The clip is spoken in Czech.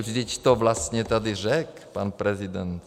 Vždyť to vlastně tady řekl pan prezident.